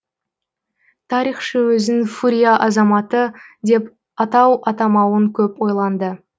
тарихшы өзін фурия азаматы деп атау атамауын көп ойланды